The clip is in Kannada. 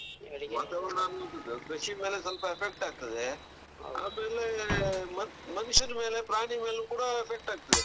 ವಾತಾವರಣ ಅನ್ನೊ ಅಂಥದ್ದು ಕೃಷಿ ಮೇಲೆ ಸ್ವಲ್ಪ effect ಆಗ್ತದೆ. ಆಮೇಲೆ ಮನುಷ್ಯರ ಮೇಲೆ ಪ್ರಾಣಿ ಮೇಲೆ ಕೂಡ effect ಆಗ್ತದೆ.